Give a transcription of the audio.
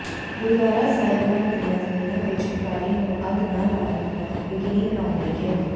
ਗੁਰਦੁਆਰਾ ਸਾਹਿਬਾਨ ਦੀਆਂ ਜ਼ਮੀਨਾਂ ਵਿੱਚ ਪਰਾਲੀ ਨੂੰ ਅੱਗ ਨਾ ਲਾਉਣ ਨੂੰ ਯਕੀਨੀ ਬਣਾਉਣ ਲਈ ਕਿਹਾ